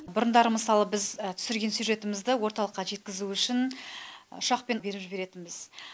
бұрындары мысалы біз түсірген сюжетімізді орталыққа жеткізу үшін ұшақпен беріп жіберетінбіз